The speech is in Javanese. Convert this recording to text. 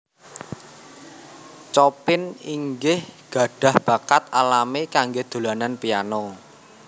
Chopin inggih gadhah bakat alami kanggé dolanan piano